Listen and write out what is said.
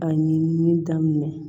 A ɲinini daminɛ